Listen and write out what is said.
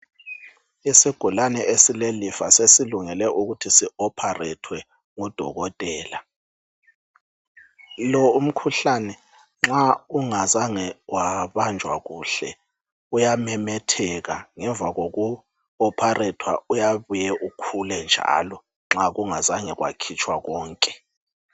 Isigulane esilelifa sesilungele ukuthi sihlinzwe ngodokotela lo umkhuhlane nxa ungazange wabanjwa kuhle uyamemetheka ngemva kokuhlinzwa uyabuye ukhule njalo nxa kungazange kwakhitshwa konke.